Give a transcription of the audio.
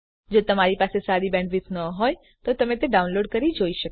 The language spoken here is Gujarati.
જો તમારી બેન્ડવિડ્થ સારી ન હોય તો તમે ડાઉનલોડ કરી તે જોઈ શકો છો